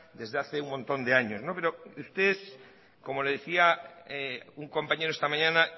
desde hace un montón de años pero ustedes como le decía a un compañero esta mañana